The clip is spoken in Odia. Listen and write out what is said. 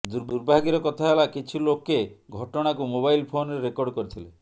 ଦୁର୍ଭାଗ୍ୟର କଥା ହେଲା କିଛି ଲୋକେ ଘଟଣାକୁ ମୋବାଇଲ ଫୋନରେ ରେକର୍ଡ କରିଥିଲେ